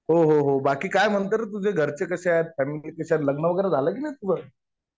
हो हो हो. बाकी काय म्हणतोय रे? तुझे घरचे कसे आहेत? फॅमिली कशी आहे? लग्न वगैरे झालं कि नाही तुझं?